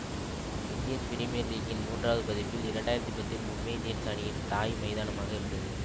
Indian premier லீக்கின் மூன்றாவது பதிப்பில் இரண்டு ஆயிரத்தி பத்தில் மும்பை இந்தியன்ஸ் அணியின் தாய் மைதானமாக இருந்தது